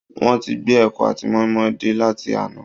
Wọ́n ti gbé ẹ̀kọ àti mọ́ínmọ́ín dé láti àná